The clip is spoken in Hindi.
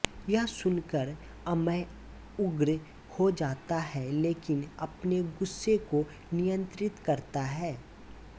यह सुनकर अमय उग्र हो जाता है लेकिन अपने गुस्से को नियंत्रित करता है